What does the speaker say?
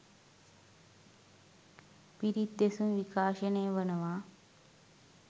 පිරිත් දෙසුම් විකාශනය වනවා.